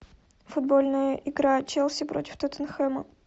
футбольная игра челси против тоттенхэма